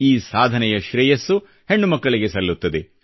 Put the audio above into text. ಈ ಸಾಧನೆಯ ಶ್ರೇಯಸ್ಸು ಹೆಣ್ಣುಮಕ್ಕಳಿಗೆ ಸಲ್ಲುತ್ತದೆ